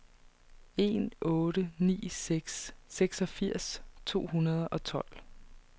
en otte ni seks seksogfirs to hundrede og tolv